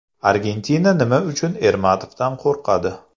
Argentina nima uchun Ermatovdan qo‘rqadi?